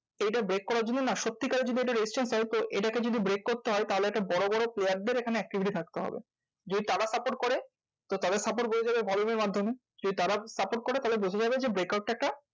এইটা break করার জন্য না সত্যি কারের যদি একটা resistance হয় তো এটাকে যদি break করতে হয় তাহলে একটা বড়বড় player দের এখানে activity থাকতে হবে। যে করে তো তাদের support বোঝা যাবে volume এর মাধ্যমে। যদি তারা support করে তাহলে বোঝা যাবে যে break out টা একটা